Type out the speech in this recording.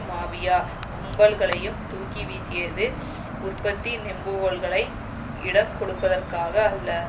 mafia கும்பல்களையும் தூக்கிவீசியது உற்பத்தி நெம்புகோல்களை யிடம் கொடுப்பதற்காக அல்ல